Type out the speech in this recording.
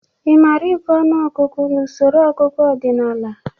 Ị mara ịgụ ọnụọgụgụ n'usoro ọgụgụ ọdịnaala?